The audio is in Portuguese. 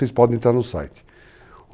Vocês podem entrar no site.